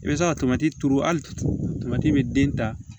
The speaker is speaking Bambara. I bɛ se ka tomati turu hali tomati bɛ den ta